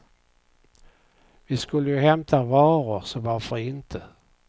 Vi skulle ju hämta varor så varför inte.